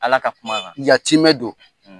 Ala ka kuma kan. Yatimɛ don.